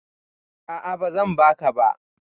A'a, ba zan baka ba